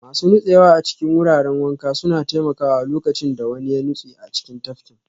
Masu nutsewa a cikin wuraren wanka suna taimakawa lokacin da wani ya nutse a cikin tafkin